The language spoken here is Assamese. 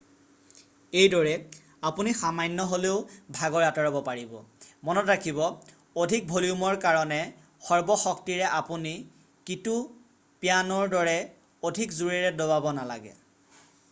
এইদৰে আপুনি সামান্য হ'লেও ভাগৰ আঁতৰাব পাৰিব মনত ৰাখিব অধিক ভলিউমৰ কাৰণে সৰ্ব শক্তিৰে আপুনি কীটো পিয়ানোৰ দৰে অধিক জোৰেৰে দবাব নালাগে